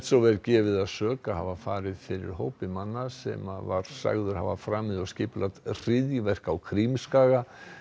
var gefið að sök að hafa farið fyrir hópi manna sem var sagður hafa framið og skipulagt hryðjuverk á Krímskaga